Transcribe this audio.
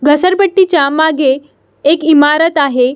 घसरपट्टि च्या मागे एक इमारत आहे.